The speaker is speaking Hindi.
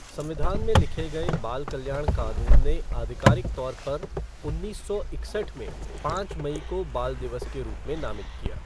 संविधान में लिखे गए बाल कल्याण कानून ने आधिकारिक तौर पर उन्नीस सौ इकसठ में पाँच मई को बाल दिवस के रूप में नामित किया।